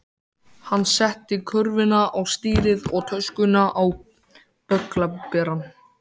Hann setti körfuna á stýrið og töskuna á bögglaberann.